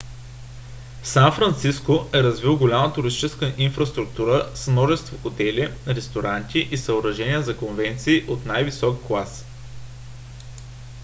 сан франциско е развил голяма туристическа инфраструктура с множество хотели ресторанти и съоръжения за конвенции от най-висок клас